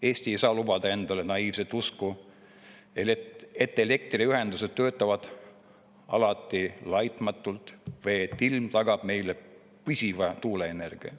Eesti ei saa lubada endale naiivset usku, et elektriühendused töötavad alati laitmatult või et ilm tagab meile püsiva tuuleenergia.